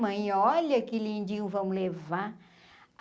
Mãe, olha que lindinho vamos levar.